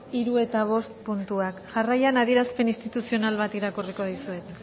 hiru eta bost puntuak jarraian adierazpen instituzional bat irakurriko dizuet